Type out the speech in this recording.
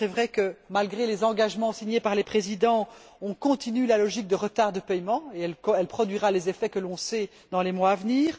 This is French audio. Il est vrai que, malgré les engagements signés par les présidents, on continue dans la logique du retard de paiement, qui produira les effets que l'on sait dans les mois à venir.